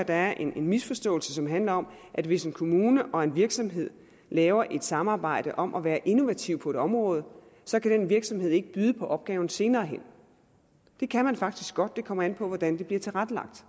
der er en misforståelse som handler om at hvis en kommune og en virksomhed laver et samarbejde om at være innovativ på et område så kan den virksomhed ikke byde på opgaven senere hen det kan den faktisk godt det kommer an på hvordan det bliver tilrettelagt